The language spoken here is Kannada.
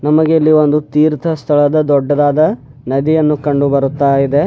ನಮಗೆ ಇಲ್ಲಿ ಒಂದು ತೀರ್ಥ ಸ್ಥಳದ ದೊಡ್ಡದಾದ ನದಿಯನ್ನು ಕಂಡು ಬರುತ್ತಾ ಇದೆ.